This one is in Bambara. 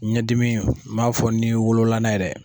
Ɲɛdimi m'a fɔ ni wolola n'a ye dɛ.